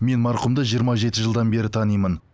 мен марқұмды жиырма жеті жылдан бері танимын